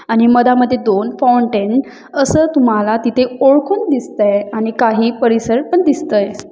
आणि मधा मधे दोन फाउंटेन असं तुम्हाला तिथे ओळखून दिसतय आणि काही परिसर पण दिसतय.